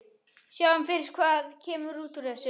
Sjáum fyrst hvað kemur út úr þessu, sagði hann.